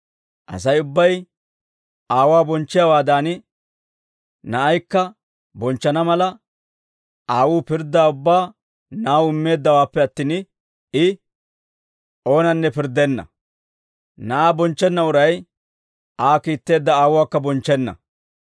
Asay ubbay Aawuwaa bonchchiyaawaadan, Na'aakka bonchchana mala, Aawuu pirddaa ubbaa Na'aw immeeddawaappe attin, I oonanne pirddenna; Na'aa bonchchenna uray, Aa kiitteedda Aawuwaakka bonchchenna.